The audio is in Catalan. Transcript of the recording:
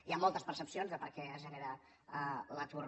hi ha moltes percepcions de per què es genera l’atur